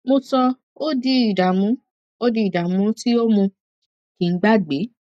mo sọ ọ di ìdààmú ọ di ìdààmú tí ó mú kí n gbàgbé